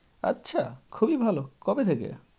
আচ্ছা, খুবই ভালো। কবে থেকে?